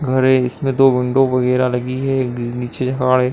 घर है। इसमें दो विंडो वगेरा लगी है। एक नीचे है।